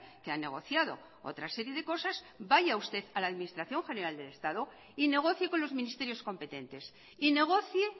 que ha negociado otra serie de cosas vaya usted a la administración general del estado y negocie con los ministerios competentes y negocie